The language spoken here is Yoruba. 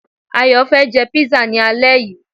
Ayò fé jé pizza ni alé yii